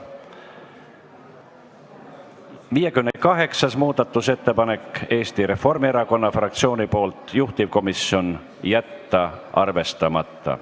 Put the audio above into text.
58. muudatusettepanek on Eesti Reformierakonna fraktsioonilt, juhtivkomisjon: jätta arvestamata.